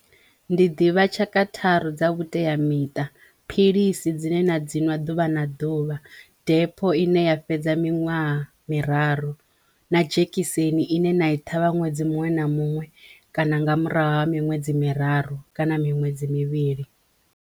Ndi ḓivha tshaka tharu dza vhuteamiṱa philisi dzine na dziṅwe ḓuvha na ḓuvha, depho ine ya fhedza miṅwaha miraru na dzhekiseni ine na i thavhani ṅwedzi muṅwe na muṅwe kana nga murahu ha miṅwedzi miraru kana miṅwedzi mivhili.